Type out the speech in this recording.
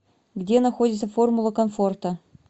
где находится формула комфорта